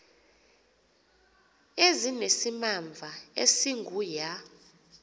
ezinesimamva esingu ya